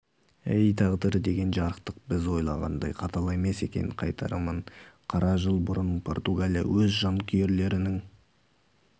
әй тағдыр деген жарықтық біз ойлағандай қатал емес екен қайтарымын қара жыл бұрын португалия өз жанкүйерлерінің